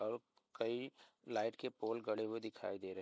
और कई लाइट के पोल गड़े हुए दिखाई दे र --